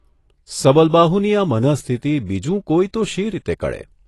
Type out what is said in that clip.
સબલબાહુની આ મનઃસ્થિતિ બીજું કોઇ તો શી રીતે કળે?